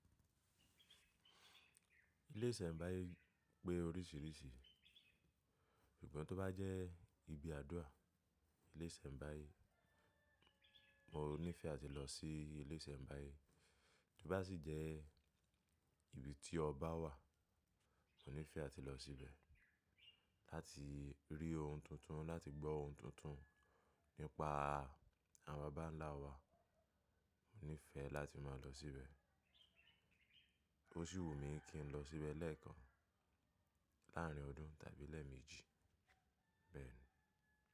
Ilé ìṣẹ̀mbáyé pé oríṣiríṣi, ìgbà tó bá jẹ́ ibi àdúrà, ilé ìṣẹ̀mbáyé mo níìfẹ́ à ti lọ sí ilé ìṣẹ̀mbáyé. Bí bá sì jẹ́ ibi tí ọba wà, mo nífẹ́ à ti lọ síbẹ̀, láti rí ohun tuntun, láti gbọ́ ohun tuntun nípa àwọn baba ńlá wa. Mo níìfẹ́ láti máa lọ síbẹ̀. Oṣhi wo mi kí n lọ síbẹ̀ lẹ́ẹ̀kan, láárín ọdún tàbí lẹ́ẹ̀mejì. Bẹ́ẹ̀ni.